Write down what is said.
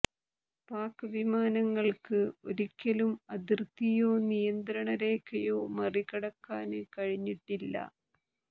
പാക് വിമാനങ്ങള്ക്ക് ഒരിക്കലും അതിര്ത്തിയോ നിയന്ത്രണ രേഖയോ മറികടക്കാന് കഴിഞ്ഞിട്ടില്ല